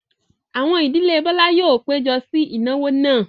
Àwọn ìdílé Bọ́lá yóò péjọ sí ìnáwó náà.